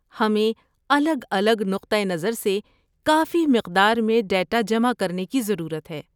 ہمیں الگ الگ نقطہ نظر سے کافی مقدار میں ڈیٹا جمع کرنے کی ضرورت ہے۔